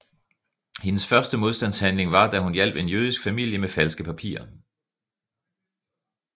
Hendes første modstandshandling var da hun hjalp en jødisk familie med falske papirer